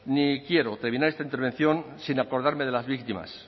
ni quiero terminar esta intervención sin acordarme de las víctimas